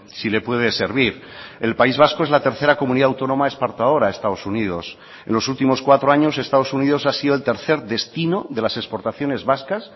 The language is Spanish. si le puede servir el país vasco es la tercera comunidad autónoma exportadora a estados unidos en los últimos cuatro años estados unidos ha sido el tercer destino de las exportaciones vascas